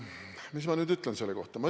Mis ma nüüd ütlen selle kohta?